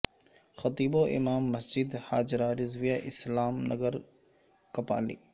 خطیب و امام مسجد ہا جرہ رضویہ اسلام نگر کپالی